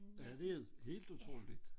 Ja det er helt utroligt